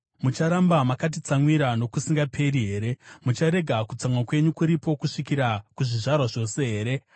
Mucharamba makatitsamwira nokusingaperi here? Mucharega kutsamwa kwenyu kuripo kusvikira kuzvizvarwa zvose here?